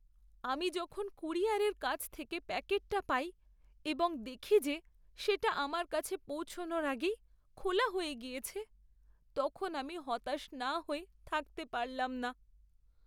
আমি যখন কুরিয়ারের কাছ থেকে প্যাকেটটা পাই এবং দেখি যে সেটা আমার কাছে পৌঁছানোর আগেই খোলা হয়ে গিয়েছে, তখন আমি হতাশ না হয়ে থাকতে পারলাম না।